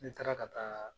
Ne taara ka taa